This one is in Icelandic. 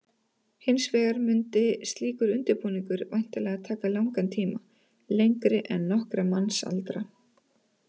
Hins vegar mundi slíkur undirbúningur væntanlega taka langan tíma, lengri en nokkra mannsaldra.